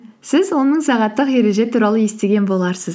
сіз он мың сағаттық ереже туралы естіген боларсыз